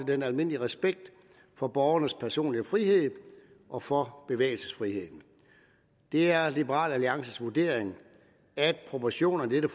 den almindelige respekt for borgernes personlige frihed og for bevægelsesfriheden det er liberal alliances vurdering at proportionerne i